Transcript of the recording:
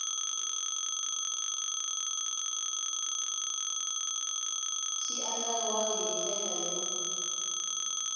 xi andlariwangi hi ndlela yo